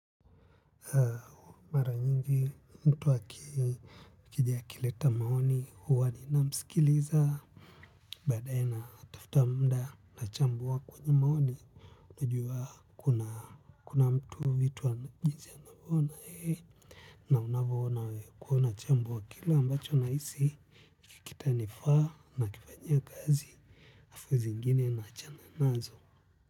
Mara nyingi mtu akiji akileta maoni huwa ninamsikiliza badaye natafuta muda nachambua kwenye maoni najua kuna mtu vitu wa jinsi anavona yeye na unavyoona kuona chambo kile ambacho nahisi kitanifaa nakifanyia kazi halafu zingine naachana nazo.